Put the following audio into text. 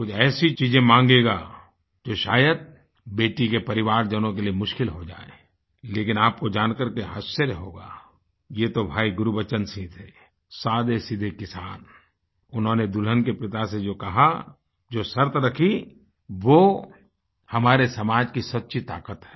कुछ ऐसी चीजें माँगेगा जो शायद बेटी के परिवारजनों के लिए मुश्किल हो जाएँ लेकिन आपको जानकर के आश्चर्य होगा ये तो भाई गुरबचन सिंह थे सादेसीधे किसान उन्होंने दुल्हन के पिता से जो कहा जो शर्त रखी वो हमारे समाज की सच्ची ताकत है